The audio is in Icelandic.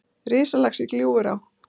Risalax í Gljúfurá